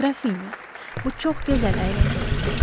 Qrafinya, bu çox gözəl əyləncə olacaq.